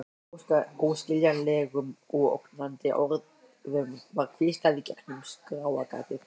Óskiljanlegum og ógnandi orðum var hvíslað í gegnum skráargati.